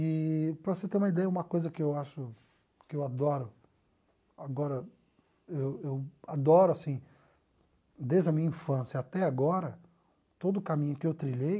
Eee para você ter uma ideia, uma coisa que eu acho, que eu adoro, agora, eu eu adoro, assim, desde a minha infância até agora, todo o caminho que eu trilhei,